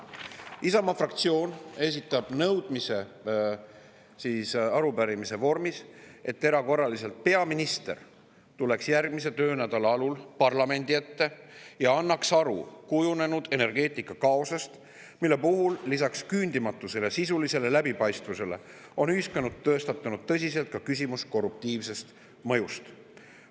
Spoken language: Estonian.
Isamaa fraktsioon esitab arupärimise vormis nõudmise, et erakorraliselt peaminister tuleks järgmise töönädala alul parlamendi ette ja annaks aru kujunenud energeetikakaosest, mille puhul lisaks küündimatusele ja sisulisele on ühiskonnas tõstatunud ka tõsine küsimus korruptiivsest mõjust.